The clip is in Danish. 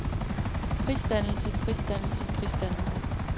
prisdannelse prisdannelse prisdannelse